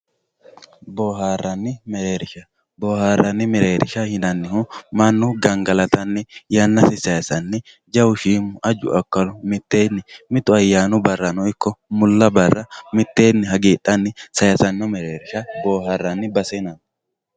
Booharanni merreerisha, booharanni merreerisha yinanihu manu gangalatanni yanasi sayisanni jawu shiimu, aju akalu mitteeni mittu ayyanu barano ikko mula barano mitteenni hagifhanni sayisano merreerisha booharanni base yinanni.